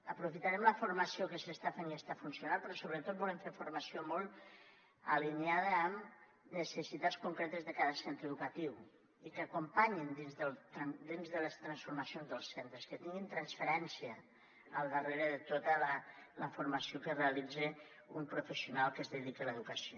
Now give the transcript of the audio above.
aprofitarem la formació que s’està fent i està funcionant però sobretot volem fer formació molt alineada amb necessitats concretes de cada centre educatiu i que acompanyi dins de les transformacions dels centres que tingui transferència al darrere de tota la formació que realitza un professional que es dediqui a l’educació